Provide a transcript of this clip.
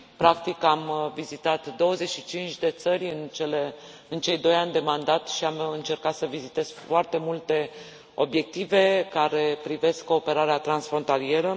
Practic, am vizitat 25 de țări în cei doi ani de mandat și am încercat să vizitez foarte multe obiective care privesc cooperarea transfrontalieră.